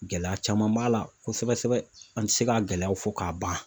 Gɛlɛya caman b'a la kosɛbɛ kosɛbɛ, an ti se ka gɛlɛyaw fɔ k'a ban.